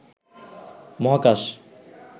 মহাকাশ